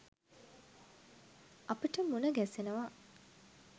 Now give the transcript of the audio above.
අපට මුණ ගැසෙනවා.